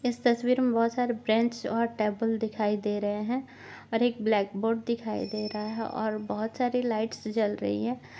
इस तस्वीर मे बहुत सारे बैंच और टेबल दिखाई दे रहे है और एक ब्लैक बोर्ड दिखाई दे रहा है और बहुत सारे लाईटस जल रही है।